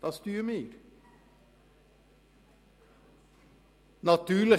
Das ist, was wir dann tun müssen.